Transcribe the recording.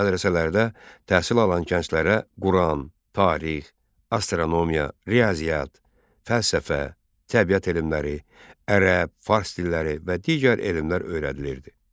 Mədrəsələrdə təhsil alan gənclərə Quran, tarix, astronomiya, riyaziyyat, fəlsəfə, təbiət elmləri, ərəb, fars dilləri və digər elmlər öyrədilirdi.